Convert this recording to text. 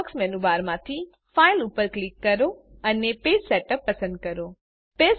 Firefox મેનુબારમાંથી file ઉપર click કરો અને પેજ સેટઅપ પસંદ કરો